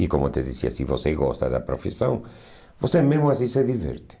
E como eu te dizia, se você gosta da profissão, você mesmo assim se diverte.